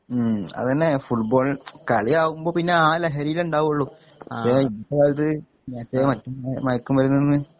ഉം അതന്നെ ഫുട്‌ബോൾ കളിയാവുമ്പൊ പിന്നെ ആ ലഹരിയില്ണ്ടാവൊള്ളു ഇപ്പോലത് മറ്റേ മയക്കുമരുന്ന്ന്ന്